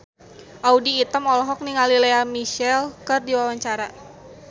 Audy Item olohok ningali Lea Michele keur diwawancara